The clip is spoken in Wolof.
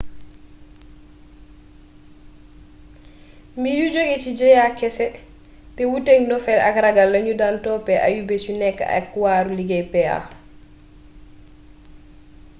mbir yu joge ci jëya kese te wuuteek ndofeel ak ragal lañu dan topp ayubés yu nek ak waaru liggéey pa